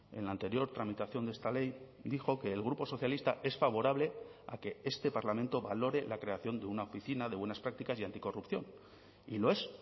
en la anterior tramitación de esta ley dijo que el grupo socialista es favorable a que este parlamento valore la creación de una oficina de buenas prácticas y anticorrupción y lo es